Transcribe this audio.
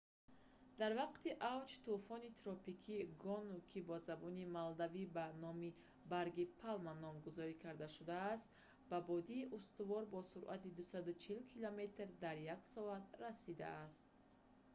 дар вақти авҷ тӯфони тропикии гону ки ба забони малдивӣ ба номи барги палма номгузорӣ карда шудааст ба боди устувор бо суръати 240 километр дар як соат 149 мил дар як соат расидааст